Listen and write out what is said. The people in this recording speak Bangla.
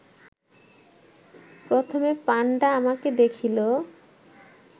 প্রথমে পাণ্ডা আমাকে দেখিল